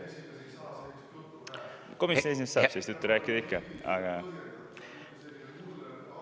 Komisjoni esimees saab sellist juttu rääkida ikka, aga ...